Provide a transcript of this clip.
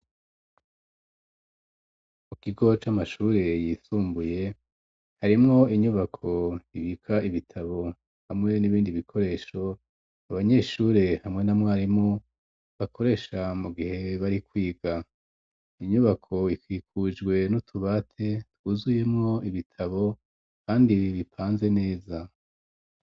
Mu kigo c'amashure yisumbuye ,harimwo inyubako, ibika ibitabo hamwe n'ibindi bikoresho, abanyeshure hamwe n'a mwarimu bakoresha mu gihe bari kwiga ,inyubako ikikujwe n'utubati twuzuyemwo ibitabo ,kandi bipanze neza.